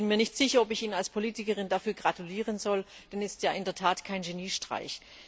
Ich bin mir nicht sicher, ob ich Ihnen als Politikerin dazu gratulieren soll, denn es ist ja in der Tat kein Geniestreich.